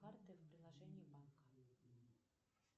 карты в приложении банка